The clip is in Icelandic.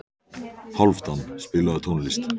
Hálfdan, spilaðu tónlist.